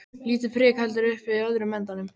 Lítið prik heldur uppi öðrum endanum.